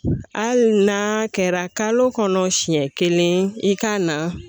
Hali n'a kɛra kalo kɔnɔ siyɛn kelen i k'a na